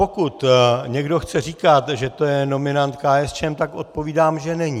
Pokud někdo chce říkat, že to je nominant KSČM, tak odpovídám, že není.